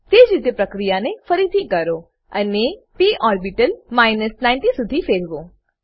તેજ રીતે પ્રક્રિયા ને ફરીથી કરો અને પ ઓર્બીટલ 90 શુધી ફેરવો